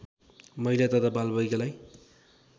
महिला तथा बालबालिकालाई